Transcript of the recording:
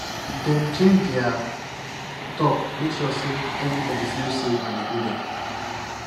dem change their talk make sure say everybody feel safe and included